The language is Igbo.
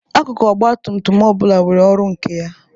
Akukụ ọgbatumtum ọ bụla nwere ọrụ nke ya.